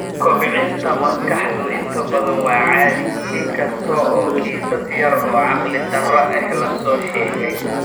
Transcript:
Kobcinta maskaxdu inta badan waa caadi, in kasta oo kiisas yar oo caqli-darro ah la soo sheegay.